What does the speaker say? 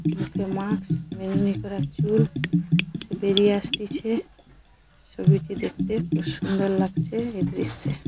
মুখে মাস্ক বেনুনি করা চুল সে বেরিয়ে আসতেছে ছবিটি দেখতে খুব সুন্দর লাগছে এই দৃশ্যে ।